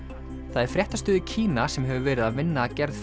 það er fréttastöð í Kína sem hefur verið að vinna að gerð